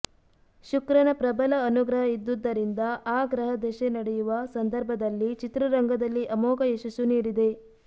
ಶುಕ್ರನ ಪ್ರಬಲ ಅನುಗ್ರಹ ಇದ್ದುದರಿಂದ ಆ ಗ್ರಹ ದಶೆ ನಡೆಯುವ ಸಂದರ್ಭದಲ್ಲಿ ಚಿತ್ರರಂಗದಲ್ಲಿ ಅಮೋಘ ಯಶಸ್ಸು ನೀಡಿದೆ